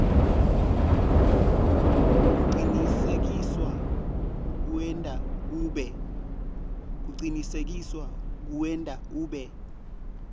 kucinisekisa kuwenta ube